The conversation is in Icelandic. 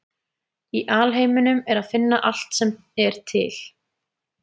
Í alheiminum er að finna allt sem er til.